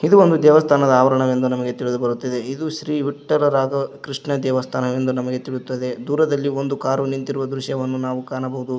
ಇದು ಒಂದು ದೇವಸ್ಥಾನದ ಆವರಣ ವೆಂದು ನಮಗೆ ತಿಳಿದು ಬರುತ್ತದೆ ಇದು ಶ್ರೀ ವಿಟ್ಟಲ ರಾಗ ಕೃಷ್ಣ ದೇವಸ್ಥಾನವೆಂದು ನಮಗೆ ತಿಳಿಯುತ್ತದೆ ದೂರದಲ್ಲಿ ಒಂದು ಕಾರು ನಿಂತಿರುವ ದೃಶ್ಯವನ್ನು ನಾವು ಕಾಣಬಹುದು.